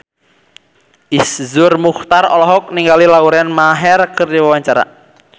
Iszur Muchtar olohok ningali Lauren Maher keur diwawancara